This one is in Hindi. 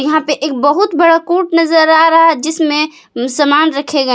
यहां पे एक बहुत बड़ा कोर्ट नजर आ रहा जिसमे सामान रखे गए--